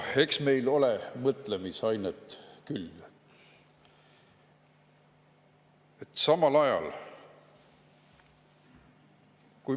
Eks meil ole mõtlemisainet küll.